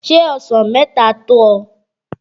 Șé ọsàn mẹ́ta tó ọ?